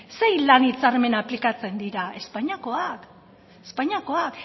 zein lan hitzarmen aplikatzen dira espainiakoak